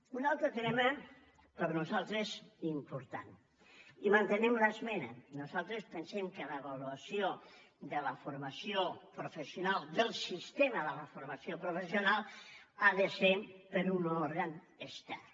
un altre tema per nosaltres important i hi mantenim l’esmena nosaltres pensem que l’avaluació de la formació professional del sistema de la formació professional ha de ser per un òrgan extern